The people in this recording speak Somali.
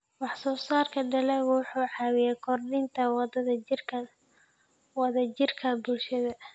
Wax-soo-saarka dalaggu wuxuu caawiyaa kordhinta wada-jirka bulshada.